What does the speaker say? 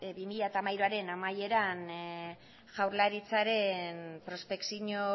bi mila hamairuaren amaieran jaurlaritzaren prospekzio